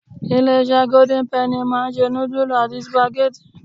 Ilé-isé golden penny máa ń se nudulu àti supageti.